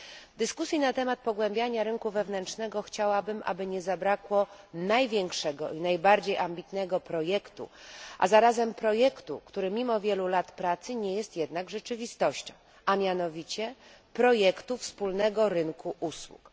W dyskusji na temat pogłębiania rynku wewnętrznego chciałabym, aby nie zabrakło największego i najbardziej ambitnego projektu, a zarazem projektu, który mimo wielu lat pracy nie jest jednak rzeczywistością, a mianowicie projektu wspólnego rynku usług.